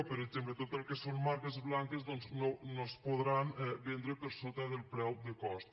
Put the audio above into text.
per exemple tot el que són marques blanques doncs no es podran vendre per sota del preu de cost